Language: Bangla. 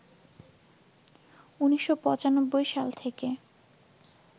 ১৯৯৫ সাল থেকে